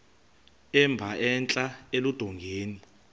emba entla eludongeni